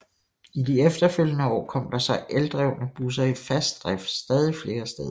I de efterfølgende år kom der så eldrevne busser i fast drift stadig flere steder